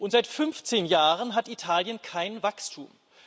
Und seit 15 Jahren hat Italien kein Wachstum.